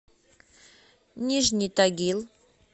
нижний тагил